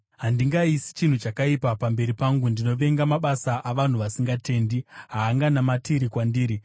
Handingaisi chinhu chakaipa pamberi pangu. Ndinovenga mabasa avanhu vasingatendi; haanganamatiri kwandiri.